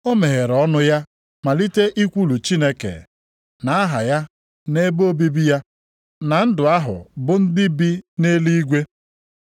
O meghere ọnụ ya malite ikwulu Chineke, na aha ya na ebe obibi ya, na ndụ ahụ bụ ndị bi nʼeluigwe.